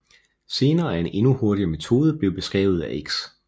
Senere er en endnu hurtigere metode blevet beskrevet af X